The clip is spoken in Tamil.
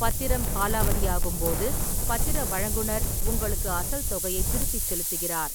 பத்திரம் காலாவதியாகும் போது, பத்திர வழங்குநர் உங்களுக்கு அசல் தொகையைத் திருப்பிச் செலுத்துகிறார்.